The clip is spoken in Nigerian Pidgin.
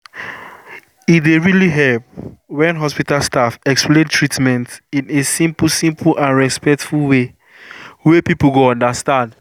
e really dey help when hospital staff explain treatment in a simple simple and respectful way wey people go understand.